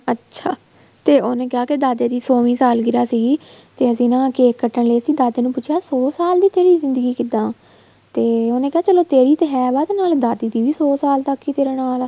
ਅੱਛਾ ਤੇ ਉਹਨੇ ਕਿਹਾ ਦਾਦੇ ਦੀ ਸੋਵੀ ਸਾਲਗਿਰਾ ਸੀ ਤੇ ਅਸੀਂ ਨਾ cake ਕੱਟਣ ਲਈ ਦਾਦੇ ਨੂੰ ਪੁੱਛਿਆ ਤੇ ਸੋ ਸਾਲ ਦੀ ਤੇਰੀ ਜ਼ਿੰਦਗੀ ਕਿੱਦਾਂ ਤੇ ਉਹਨੇ ਕਿਹਾ ਚਲੋ ਤੇਰੀ ਤੇ ਹੈ ਵਾ ਨਾਲੇ ਦਾਦੀ ਦੀ ਵੀ ਸੋ ਸਾਲ ਤੱਕ ਹੀ ਤੇਰੇ ਨਾਲ ਆ